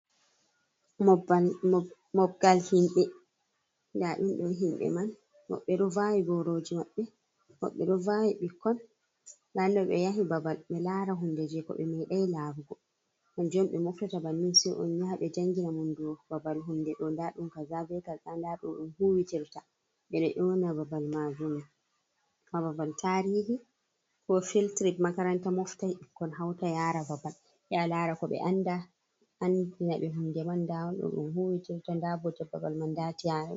Mobgal himɓɓe nda ɗum ɗo himɓe man woɓbe ɗo vawi boroji maɓɓe, woɓɓe ɗo vawi ɓikkon, nɗa ɗum ɗo ɓeyahi babal ɓe lara hunge je ko ɓe medai larugo, kanjum on ɓe moftata bannin se on yaha ɓe jangina mon dou babal hunde ɗo nda ɗum kazal be kaza nda no ɗum huwitirta ɓe ɗo yona babal majum ha babal tarihi ko filtrit, makaranta moftai ɓikkon hauta yara babal yaha lara ko ɓe anda andina ɓe hunde man, nda ɗum ɗo no ɗum huwitirta nda bote babal man nda ti.